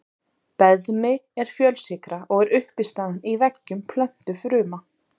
Beðmi er fjölsykra og er uppistaðan í veggjum plöntufruma.